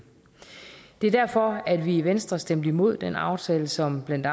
det var derfor at vi i venstre stemte imod den aftale som blandt